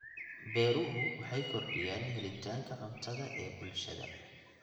Beeruhu waxay kordhiyaan helitaanka cuntada ee bulshada.